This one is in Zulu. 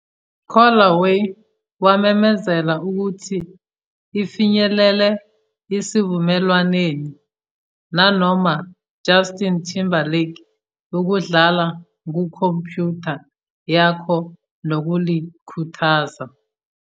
"Callaway wamemezela ukuthi ifinyelele esivumelwaneni nanoma Justin Timberlake ukudlala kukhompyutha yakho nokulikhuthaza."